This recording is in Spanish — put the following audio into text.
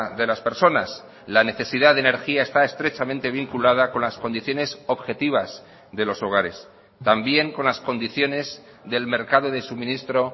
de las personas la necesidad de energía está estrechamente vinculada con las condiciones objetivas de los hogares también con las condiciones del mercado de suministro